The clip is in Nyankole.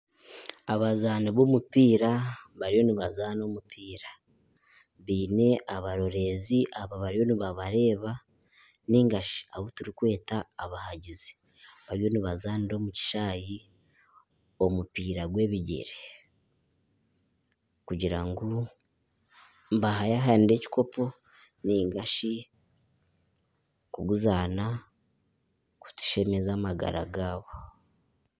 Abazaani b'omupiira bariyo nibazaana omupiira biine abarorezi abariyo nibabareeba nigashi abu turikweta abahangizi bariyo nibazaanira omu kishaayi omupiira gw’ebigyere kugira ngu nibahayahanira ekikopo nigashi kuguzana kushemeza amagara gaabo.